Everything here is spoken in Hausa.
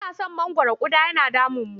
Muna san mangwaro ƙuda yana damunmu.